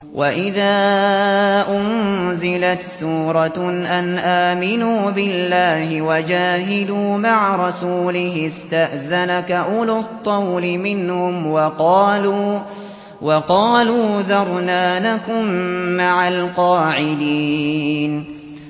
وَإِذَا أُنزِلَتْ سُورَةٌ أَنْ آمِنُوا بِاللَّهِ وَجَاهِدُوا مَعَ رَسُولِهِ اسْتَأْذَنَكَ أُولُو الطَّوْلِ مِنْهُمْ وَقَالُوا ذَرْنَا نَكُن مَّعَ الْقَاعِدِينَ